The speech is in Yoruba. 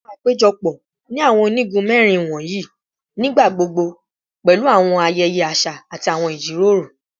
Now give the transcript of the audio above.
Awọn apejọpọ ni awọn onigun mẹrin wọnyi nigbagbogbo pẹlu awọn ayẹyẹ aṣa ati awọn ijiroro